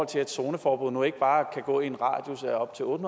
til at zoneforbud nu ikke bare kan gå i en radius af op til otte